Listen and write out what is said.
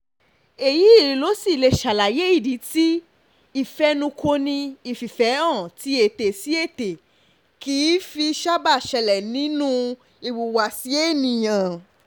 èyí lo sì lè ṣàlàyé ìdí tí ìfẹnukọni ìfìfẹ́hàn tí ètè-sí-ètè kìí fi sábà ṣẹlẹ̀ nínú ìwùwàsí ènìyàn